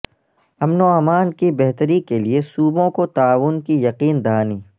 امن و امان کی بہتری کے لیے صوبوں کو تعاون کی یقین دہانی